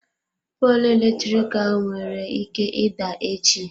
Poolụ eletrik ahụ nwere ike ịda echi.